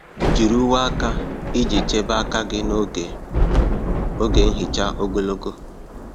Jiri uwe aka iji chebe aka gị n'oge oge nhicha ogologo.